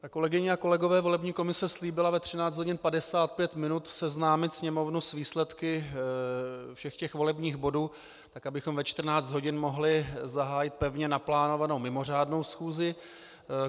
Kolegyně a kolegové, volební komise slíbila ve 13 hodin 55 minut seznámit Sněmovnu s výsledky všech těch volebních bodů, tak abychom ve 14 hodin mohli zahájit pevně naplánovanou mimořádnou schůzi.